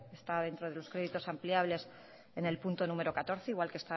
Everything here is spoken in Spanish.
está dentro de los créditos ampliables en el punto número catorce igual que